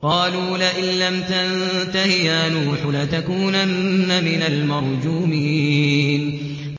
قَالُوا لَئِن لَّمْ تَنتَهِ يَا نُوحُ لَتَكُونَنَّ مِنَ الْمَرْجُومِينَ